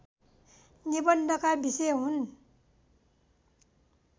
निबन्धका विषय हुन्